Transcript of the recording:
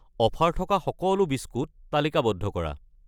Offer থকা সকলো biscuit তালিকাবদ্ধ কৰা।